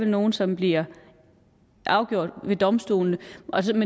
nogle som bliver afgjort ved domstolene